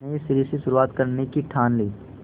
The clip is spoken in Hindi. नए सिरे से शुरुआत करने की ठान ली